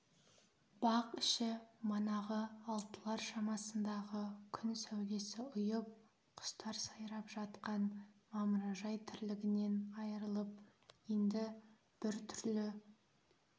бақ іші манағы алтылар шамасындағы күн сәулесі ұйып құстар сайрап жатқан мамыражай тірлігінен айырылып енді біртүрлі